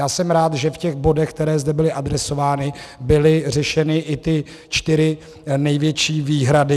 Já jsem rád, že v těch bodech, které zde byly adresovány, byly řešeny i ty čtyři největší výhrady.